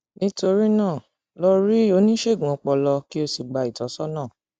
nítorí náà lọ rí oníṣègùn ọpọlọ kó o sì gba ìtọsọnà